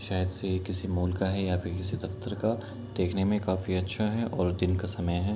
side से किसी mall का है या फिर किसी दफ्तर का | देख़ने मे काफी अच्छा है और दिन का समय है |